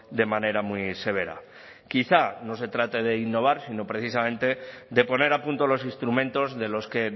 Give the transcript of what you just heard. de manera muy severa quizá no se trate de innovar sino precisamente de poner a punto los instrumentos de los que